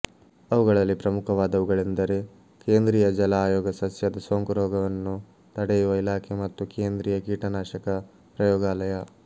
ಅವುಗಳಲ್ಲಿ ಪ್ರಮುಖವಾದವುಗಳೆಂದರೆ ಕೇಂದ್ರೀಯ ಜಲ ಆಯೋಗ ಸಸ್ಯದ ಸೋಂಕುರೋಗವನ್ನು ತಡೆಯುವ ಇಲಾಖೆ ಮತ್ತು ಕೇಂದ್ರೀಯ ಕೀಟನಾಶಕ ಪ್ರಯೋಗಾಲಯ